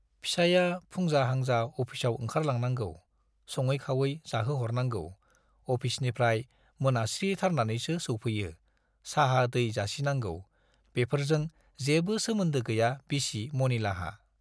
फिसाइया फुंजा-हांजा अफिसाव ओंखारलांनांगौ - सङै-खावै जाहोहरनांगौ, अफिसनिफ्राइ मोनास्रिथारनानैसो सौफैयो- साहा दै जासिनांगौ - बेफोरजों जेबो सोमोन्दो गैया बिसि मनिलाहा।